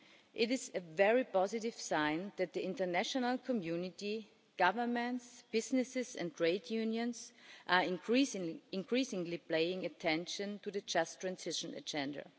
It is a very positive sign that the international community, governments, businesses and trade unions are increasingly paying attention to the just transition agenda.